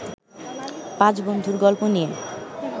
পাঁচ বন্ধুর গল্প নিয়ে